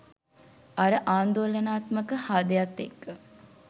අර ආන්දෝලනාත්මක හාදයත් එක්ක.